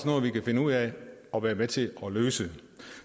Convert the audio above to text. noget vi kan finde ud af at være med til at løse